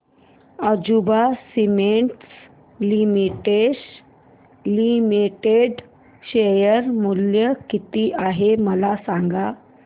Ambuja cements limited share मूल्य किती आहे मला सांगा